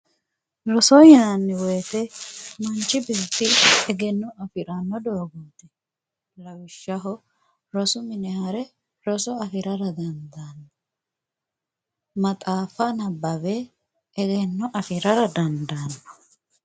roso yinanni woyiite manchi beetti egenno afriranno doogo ikkanna lawishshaho rosu minira hare roso afirara dandaanno maxaaffa nabbawe egenno afirara dandaanno